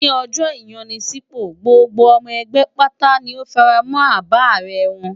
Ní ọjọ́ ìyanisípò, gbogbo ọmọ ẹgbẹ́ pátá ni ó fara mọ́ àbá ààrẹ wọn.